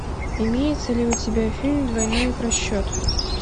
имеется ли у тебя фильм двойной просчет